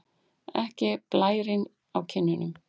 Ekki blærinn á kinnunum.